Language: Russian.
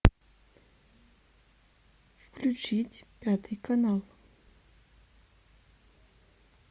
включить пятый канал